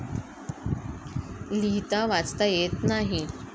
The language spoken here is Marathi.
लिहीता वाचता येत नाही.